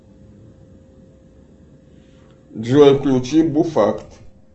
джой включи буфакт